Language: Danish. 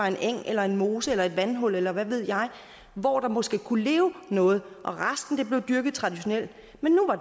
en eng eller en mose eller et vandhul eller hvad ved jeg hvor der måske kunne leve noget og resten blev dyrket traditionelt